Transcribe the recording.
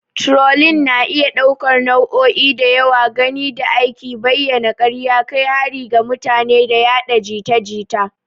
Turolin na iya ɗaukar nau'o'i da yawa gami da aika bayanan karya, kai harin ga mutum, da yaɗa jita jita.